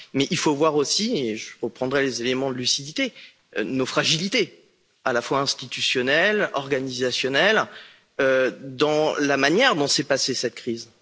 Mais il faut voir également et je reprendrai les éléments de lucidité nos fragilités à la fois institutionnelles, organisationnelles et dans la manière dont s'est déroulée cette crise.